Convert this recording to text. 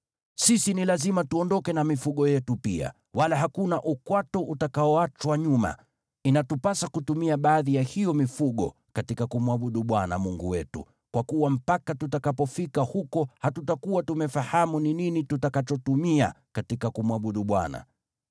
Sisi ni lazima tuondoke na mifugo yetu pia, wala hakuna ukwato utakaoachwa nyuma. Inatupasa kutumia baadhi ya hiyo mifugo katika kumwabudu Bwana Mungu wetu, kwa kuwa mpaka tutakapofika huko hatutakuwa tumefahamu ni nini tutakachotumia katika kumwabudu Bwana .”